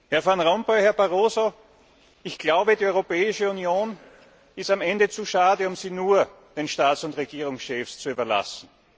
Herr Van Rompuy, Herr Barroso, ich glaube, die Europäische Union ist am Ende zu schade, um sie nur den Staats und Regierungschefs zu überlassen.